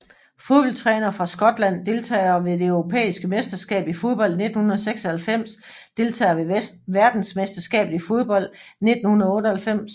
Fodboldtrænere fra Skotland Deltagere ved det europæiske mesterskab i fodbold 1996 Deltagere ved verdensmesterskabet i fodbold 1998